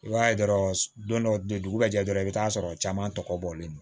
I b'a ye dɔrɔn don dɔ de dugu jɛ dɔrɔn i bɛ t'a sɔrɔ caman tɔkɔlen don